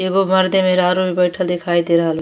एगो मर्दे मेहरारू भी बइठल दिखाई दे रहल --